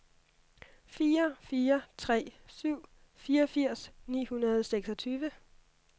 fire fire tre syv fireogfirs ni hundrede og seksogtyve